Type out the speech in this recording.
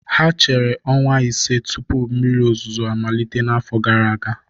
Ha chere ọnwa ise tupu mmiri ozuzo amalite n'afọ gara aga